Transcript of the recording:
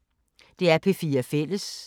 DR P4 Fælles